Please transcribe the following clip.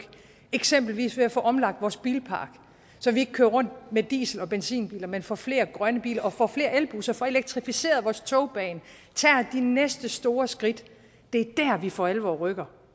eksempelvis ved at få omlagt vores bilpark så vi ikke kører rundt i diesel og benzinbiler men får flere grønne biler og får flere elbusser får elektrificeret vores togbane tager de næste store skridt det er der vi for alvor rykker